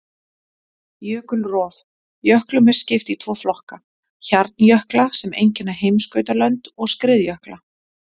Jökulrof: Jöklum er skipt í tvo flokka, hjarnjökla sem einkenna heimskautalönd, og skriðjökla.